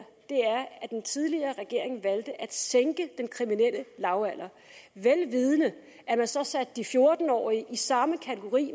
at den tidligere regering valgte at sænke den kriminelle lavalder vel vidende at man så satte de fjorten årige i samme kategori